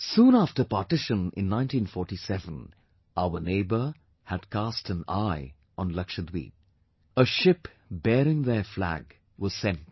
Soon after Partition in 1947, our neighbour had cast an eye on Lakshadweep; a ship bearing their flag was sent there